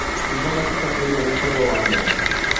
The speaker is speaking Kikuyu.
Akĩuga na matibatairwo gũkorwo wa mwanya.